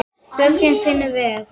Björgin fingur ver.